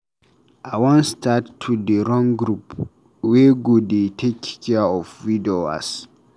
I wan start to dey run group wey go dey take care of widowers.